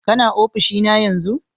Kana ofishi na yanzun?